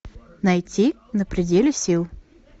найти на пределе сил